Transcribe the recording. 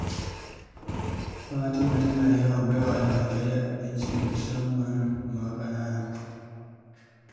Fatima tana yawan ba wa almajirai abinci musamman ma ƙanana